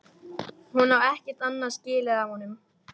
Hún á ekkert annað skilið af honum.